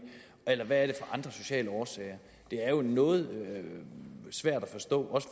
eller hvad er det andre sociale årsager det er jo noget svært at forstå